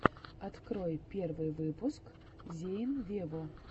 открой первый выпуск зейн вево